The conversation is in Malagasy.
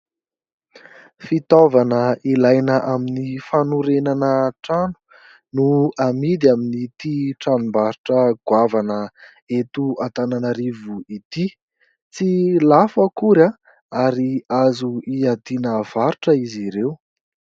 Fitaovana ilaina amin'ny fanorenana trano no amidy amin'ity tranombarotra goavana eto Antananarivo Ity. Tsy lafo akory ary azo hiadiana varotra izy ireo.